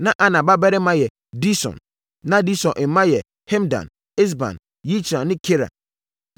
Na Ana babarima yɛ Dison. Na Dison mma yɛ Hemdan, Esban, Yitran ne Keran.